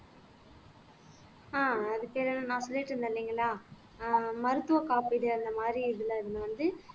ஆஹ் அதுக்கென்ன நான் சொல்லிட்டு இருந்தேன் இல்லைங்களா ஆஹ் மருத்துவ காப்பீடு அந்த மாரி இதுல இருந்து வந்து